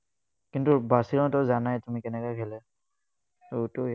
কিন্তু, barcelona তো জানাই তুমি, কেনেকুৱা খেলে। এইটোৱে